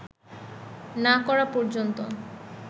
না করা পর্যন্ত